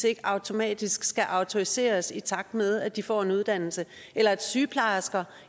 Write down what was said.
ikke automatisk skal autoriseres i takt med at de får en uddannelse eller at sygeplejersker